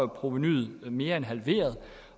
provenuet mere end halveret